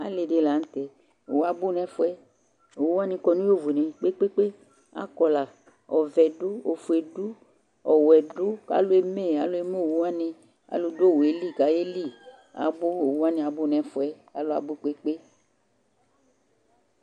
alɩ dɩ lanʊtɛ, owu abʊ nʊ ɛfʊ yɛ, owuwanɩ kɔ nʊ katikpo poo, akɔ la ɔvɛ, ofue, ɔwɛ, kʊ alʊ eme owuwanɩ, alʊ dʊ iwu yɛ li kayeli, owuwanɩ abʊ nʊ ɛfʊ yɛ, alʊ abʊ poo